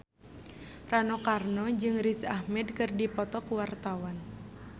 Rano Karno jeung Riz Ahmed keur dipoto ku wartawan